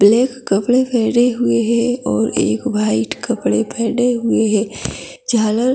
black कपड़े पहने हुए है और एक वाइट कपड़े पहने हुए है झालर--